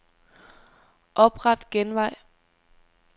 Opret genvej.